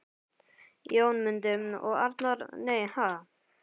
Jónmundur og Arnar: Nei, ha??